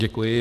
Děkuji.